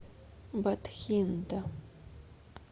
батхинда